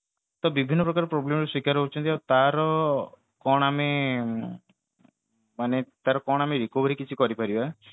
ତ ବିଭିନ୍ନ ପ୍ରକାର problem ର ଶିକାର ହଉଛନ୍ତି ଆଉ ତାର କଣ ଆମେ recovery କିଛି କରି ପାରିବା